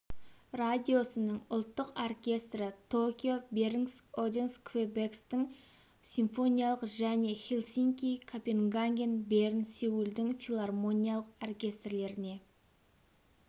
радиосының ұлттық оркестрі токио бернск оденск квебекстің симфониялық және хельсинки копенгаген берн сеулдың филармониялық оркестрлеріне